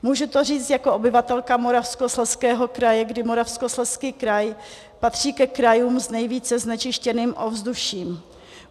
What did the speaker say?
Můžu to říct jako obyvatelka Moravskoslezského kraje, kdy Moravskoslezský kraj patří ke krajům s nejvíce znečištěným ovzduším.